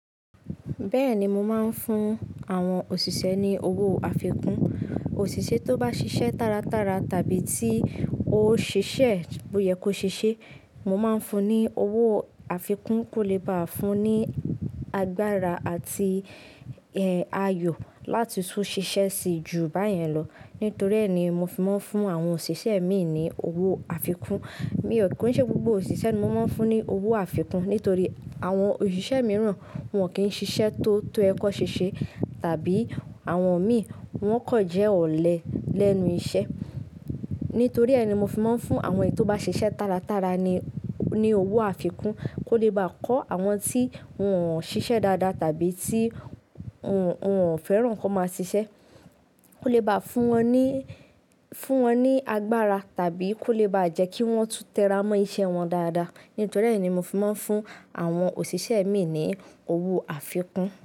Bẹ́ẹ̀ni, mo máa ń fún àwọn òṣìṣẹ́ ní owó àfikún. Òṣìṣẹ́ tó bá ṣiṣẹ́ tára tára tàbí tí ó ṣẹ̀ṣẹ̀ bóyẹ́ kó ṣe ṣe, mo máa ń fún ní owó àfikún kó lè bá fún ní agbára àti e ayọ̀ láti tún ṣiṣẹ́ síi ju báyẹn lọ. Nítorí ẹ́ ni mo fi máa ń fún àwọn òṣìṣẹ́ mi ní owó àfikún. Mi ò kí ń ṣe gbogbo òṣìṣẹ́ ni mo máa ń fún ní owó àfikún. Nítorí àwọn òṣìṣẹ́ mìíràn wọ́n kì í ṣiṣẹ́ tó tó yẹ́ kọ́ ṣèṣe tàbí àwọn mi wọ́n kọ̀ jẹ́ ọ̀lẹ lẹ́nu iṣẹ́. Nítorí ẹ́ ni mo fi máa ń fún àwọn tó bá ṣiṣẹ́ tára tára ni, ní owó àfikún kó lè bá kọ́ àwọn tí wọ́n ṣiṣẹ́ dáadáa tàbí tí wọ́n, wọ́n fẹ́ràn kó máa ṣiṣẹ́. Kó lè bá fún wọn ní, fún wọn ní agbára tàbí kó lè bá jẹ́ kí wọ́n tún tẹ́ra mọ́ iṣẹ́ wọn dáadáa. Nítorí ẹ́ ni mo fi máa ń fún àwọn òṣìṣẹ́ mi ní owó àfikún.